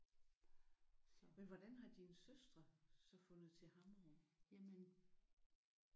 Men hvordan har dine søstre så fundet til Hammerup?